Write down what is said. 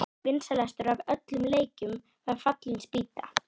Vinsælastur af öllum leikjum var Fallin spýta!